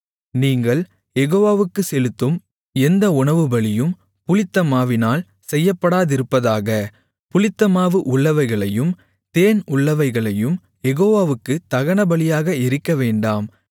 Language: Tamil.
நீங்கள் யெகோவாவுக்குச் செலுத்தும் எந்த உணவுபலியும் புளித்தமாவினால் செய்யப்படாதிருப்பதாக புளித்தமாவு உள்ளவைகளையும் தேன் உள்ளவைகளையும் யெகோவாவுக்குத் தகனபலியாக எரிக்கவேண்டாம்